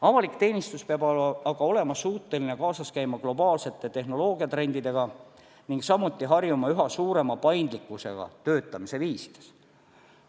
Avalik teenistus peab olema suuteline kaasas käima globaalsete tehnoloogiatrendidega ning samuti harjuma üha suurema paindlikkusega töötamise viisides.